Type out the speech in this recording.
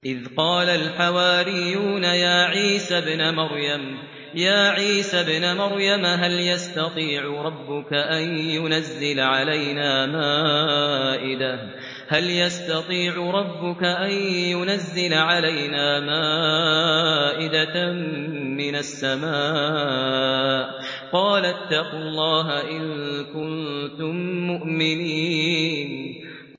إِذْ قَالَ الْحَوَارِيُّونَ يَا عِيسَى ابْنَ مَرْيَمَ هَلْ يَسْتَطِيعُ رَبُّكَ أَن يُنَزِّلَ عَلَيْنَا مَائِدَةً مِّنَ السَّمَاءِ ۖ قَالَ اتَّقُوا اللَّهَ إِن كُنتُم مُّؤْمِنِينَ